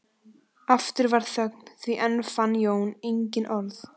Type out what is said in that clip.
Aftur varð þögn því enn fann Jón engin orð.